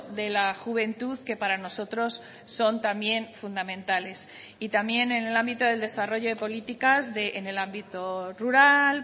de la juventud que para nosotros son también fundamentales y también en el ámbito del desarrollo de políticas en el ámbito rural